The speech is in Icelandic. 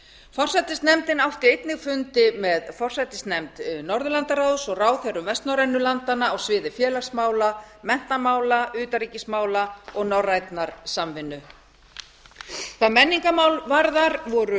forsætisnefndin átti einnig fundi með forsætisnefnd norðurlandaráðs og ráðherrum vestnorrænu landanna á sviði félagsmála menntamála utanríkismála og norrænnar samvinnu hvað menningarmál varðar voru